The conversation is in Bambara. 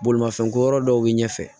Bolimafɛn ko yɔrɔ dɔw bɛ ɲɛfɛ